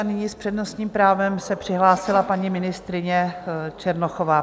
A nyní s přednostním právem se přihlásila paní ministryně Černochová.